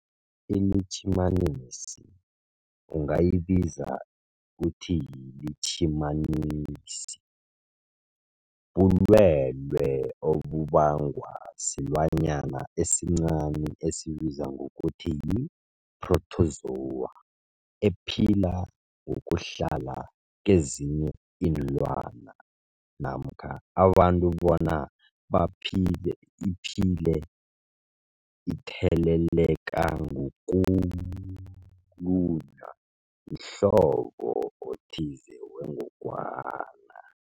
iLitjhimanisi ungayibiza uthiyilitjhimanisi, bulwelwe obubangwa silwanyana esincani esibizwa ngokuthiyi-phrotozowa ephila ngokuhlala kezinye iinlwana namkha abantu bona baphile iphile itheleleka ngokulunywa mhlobo othize wengogwana.